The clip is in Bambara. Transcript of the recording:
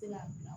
Tɛ ka bila